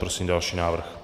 Prosím další návrh.